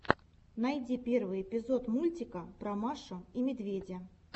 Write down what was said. найти первый эпизод мультика про машу и медведя